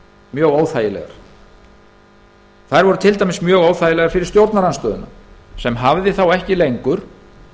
mjög óþægilegar þær voru til dæmis mjög óþægilegar fyrir stjórnarandstöðuna sem hafði þá ekki lengur